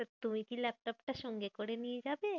তুমি কি ল্যাপটপ টা সঙ্গে করে নিয়ে যাবে?